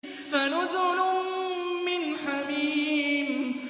فَنُزُلٌ مِّنْ حَمِيمٍ